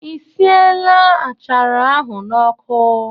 I siela achara ahụ n'ọkụ?